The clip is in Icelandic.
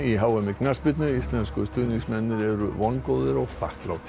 h m í knattspyrnu íslensku stuðningsmennirnir eru vongóðir og þakklátir